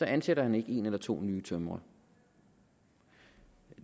ansætter han ikke en eller to ny tømrere